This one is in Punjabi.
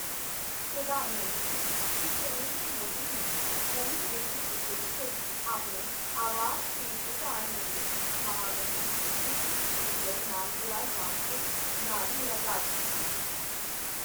ਪ੍ਰਧਾਨ ਮੰਤਰੀ, ਸ਼੍ਰੀ ਨਰਿੰਦਰ ਮੋਦੀ ਨੇ ਨਵੀਂ ਦਿੱਲੀ ਵਿਖੇ ਸਥਿਤ ਆਪਣੇ ਆਵਾਸ ਤੇ ਭੂਟਾਨ ਨਰੇਸ਼ ਮਹਾਮਹਿਮ "ਜਿਗਮੇ ਖੇਸਰ ਨਾਮਗਯਾਲ ਵਾਂਗਚੁਕ" ਨਾਲ ਮੁਲਾਕਾਤ ਕੀਤੀ।